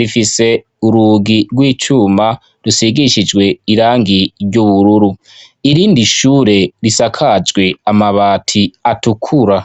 Rifise urugi rw'icuma rusigishijwe irangi ry'ubururu. Irindi shure risakajwe amabati atukura.